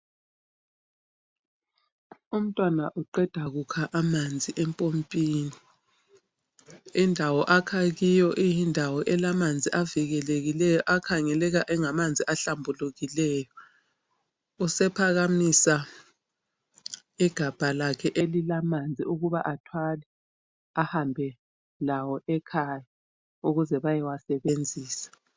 Umntwana uqeda kukha amanzi empompini. Indawo akha kiyo iyindawo elamanzi avikelekileyo akhangeleka engamanzi ahlambulukileyo. Usephakamisa igabha lakhe elilamanzi ukuba athwale ahambelawo akhaya ukuze bayewasebenzisa.